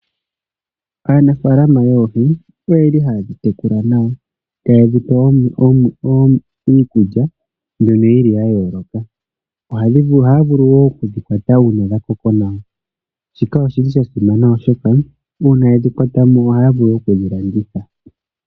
Aanafaalama yoohi oyeli haye dhitekula nawa, taye dhipe iikulya mbyono yili ya yooloka. Ohaya vulu wo okudhikwata uuna dhakoko nawa, shika oshili shasimana oshoka uuna yedhi kwatamo ohaya vulu okudhi landitha.